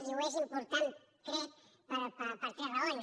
i ho és important crec per tres raons